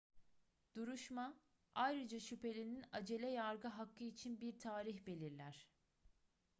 duruşma ayrıca şüphelinin acele yargı hakkı için bir tarih belirler